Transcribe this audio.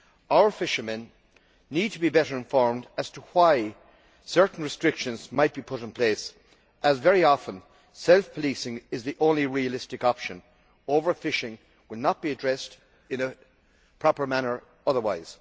Our fishermen need to be better informed as to why certain restrictions might be put in place, as very often self policing is the only realistic option overfishing will not be addressed in a proper manner otherwise.